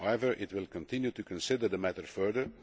However, it will continue to consider the matter further.